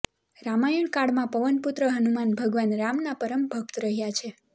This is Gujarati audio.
રામાયણ કાળ માં પવન પુત્ર હનુમાન ભગવાન રામ ના પરમ ભક્ત રહ્યા છે